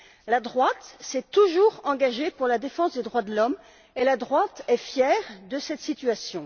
La droite s'est toujours engagée pour la défense des droits de l'homme, et elle est fière de cette situation.